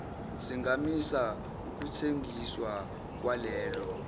singamisa ukuthengiswa kwalelo